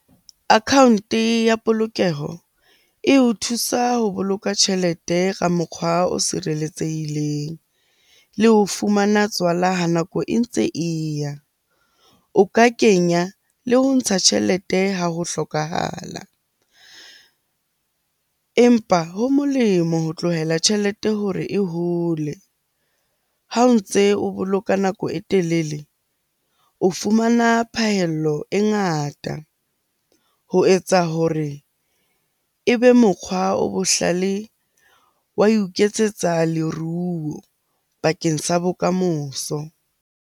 Account-e ya polokeho eo thusa ho boloka tjhelete ka mokgwa o sireletsehileng le ho fumana tswala ha nako e ntse e ya. O ka kenya le ho ntsha tjhelete ha ho hlokahala. Empa ho molemo ho tlohela tjhelete hore e hole. Ha o ntse o boloka nako e telele, o fumana phahello e ngata ho etsa hore ebe mokgwa o bohlale wa ho iketsetsa leruo bakeng sa bokamoso.